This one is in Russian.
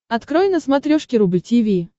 открой на смотрешке рубль ти ви